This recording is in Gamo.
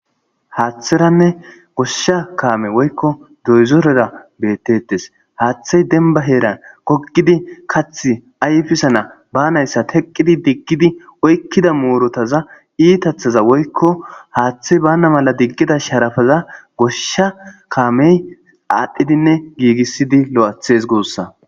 haaththeranne goshsha kaame woykko doyzorera bettettes haaththey denba heeran gogidi kath ayfisana banayssa teqqidi diggidi oykkida muurotaza iitathaza woykko haaththey bana mala diggida sharafaza goshsha kaamey aadhdhidinne giigissidi lo7athes goossa